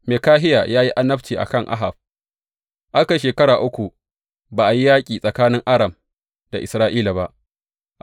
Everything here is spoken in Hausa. Mikahiya ya yi annabci a kan Ahab Aka yi shekaru uku ba a yi yaƙi tsakanin Aram da Isra’ila ba.